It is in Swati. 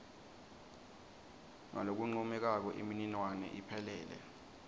ngalokuncomekako imininingwane iphelele